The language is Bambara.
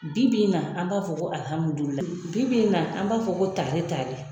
Bi bi in na an b'a fɔ ko Alihamudulilahi, bi bi in na an b'a fɔ ko tare tare.